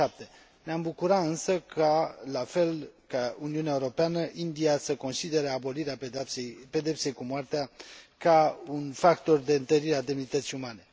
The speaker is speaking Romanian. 2007. Ne am bucura însă ca, la fel ca Uniunea Europeană, India să considere abolirea pedepsei cu moartea ca un factor de întărire a demnității umane.